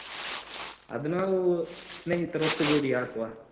ಅದು ನಾವು ಸ್ನೇಹಿತರೊಟ್ಟುಗೂಡಿ ಹಾಕುವ.